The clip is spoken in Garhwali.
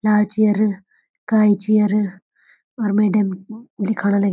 लाल चेयर काली चेयर और मैडम लिखाणा लगीं।